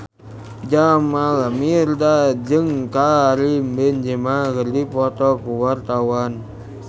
Jamal Mirdad jeung Karim Benzema keur dipoto ku wartawan